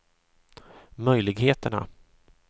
möjligheterna